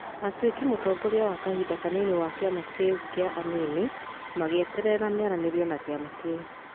Atuĩkĩ mũtongoria wa kahinda kanini wa kĩama kĩu kĩa anini . Magiĩterera mĩaranĩrio na kĩama kĩu.